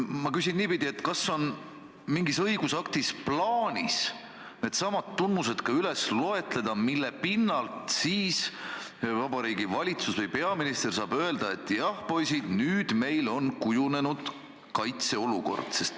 Ma küsin niipidi: kas on mingis õigusaktis plaanis üles lugeda need tunnused, mille pinnalt Vabariigi Valitsus või peaminister saab öelda, et jah, poisid, nüüd meil on kujunenud kaitseolukord?